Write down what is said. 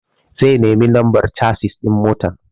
Zai nemi lambar casis ɗin motar.